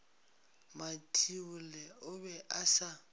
mathibolle o be a sa